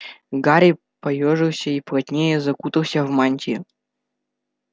гарри поёжился и плотнее закутался в мантию